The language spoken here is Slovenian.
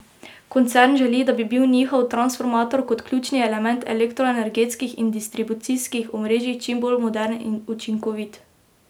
Koncern želi, da bi bil njihov transformator kot ključni element elektroenergetskih in distribucijskih omrežij čim bolj moderen in učinkovit.